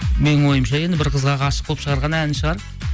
менің ойымша енді бір қызға ғашық болып шығарған әні шығар